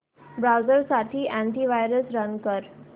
browser साठी anti virus run कर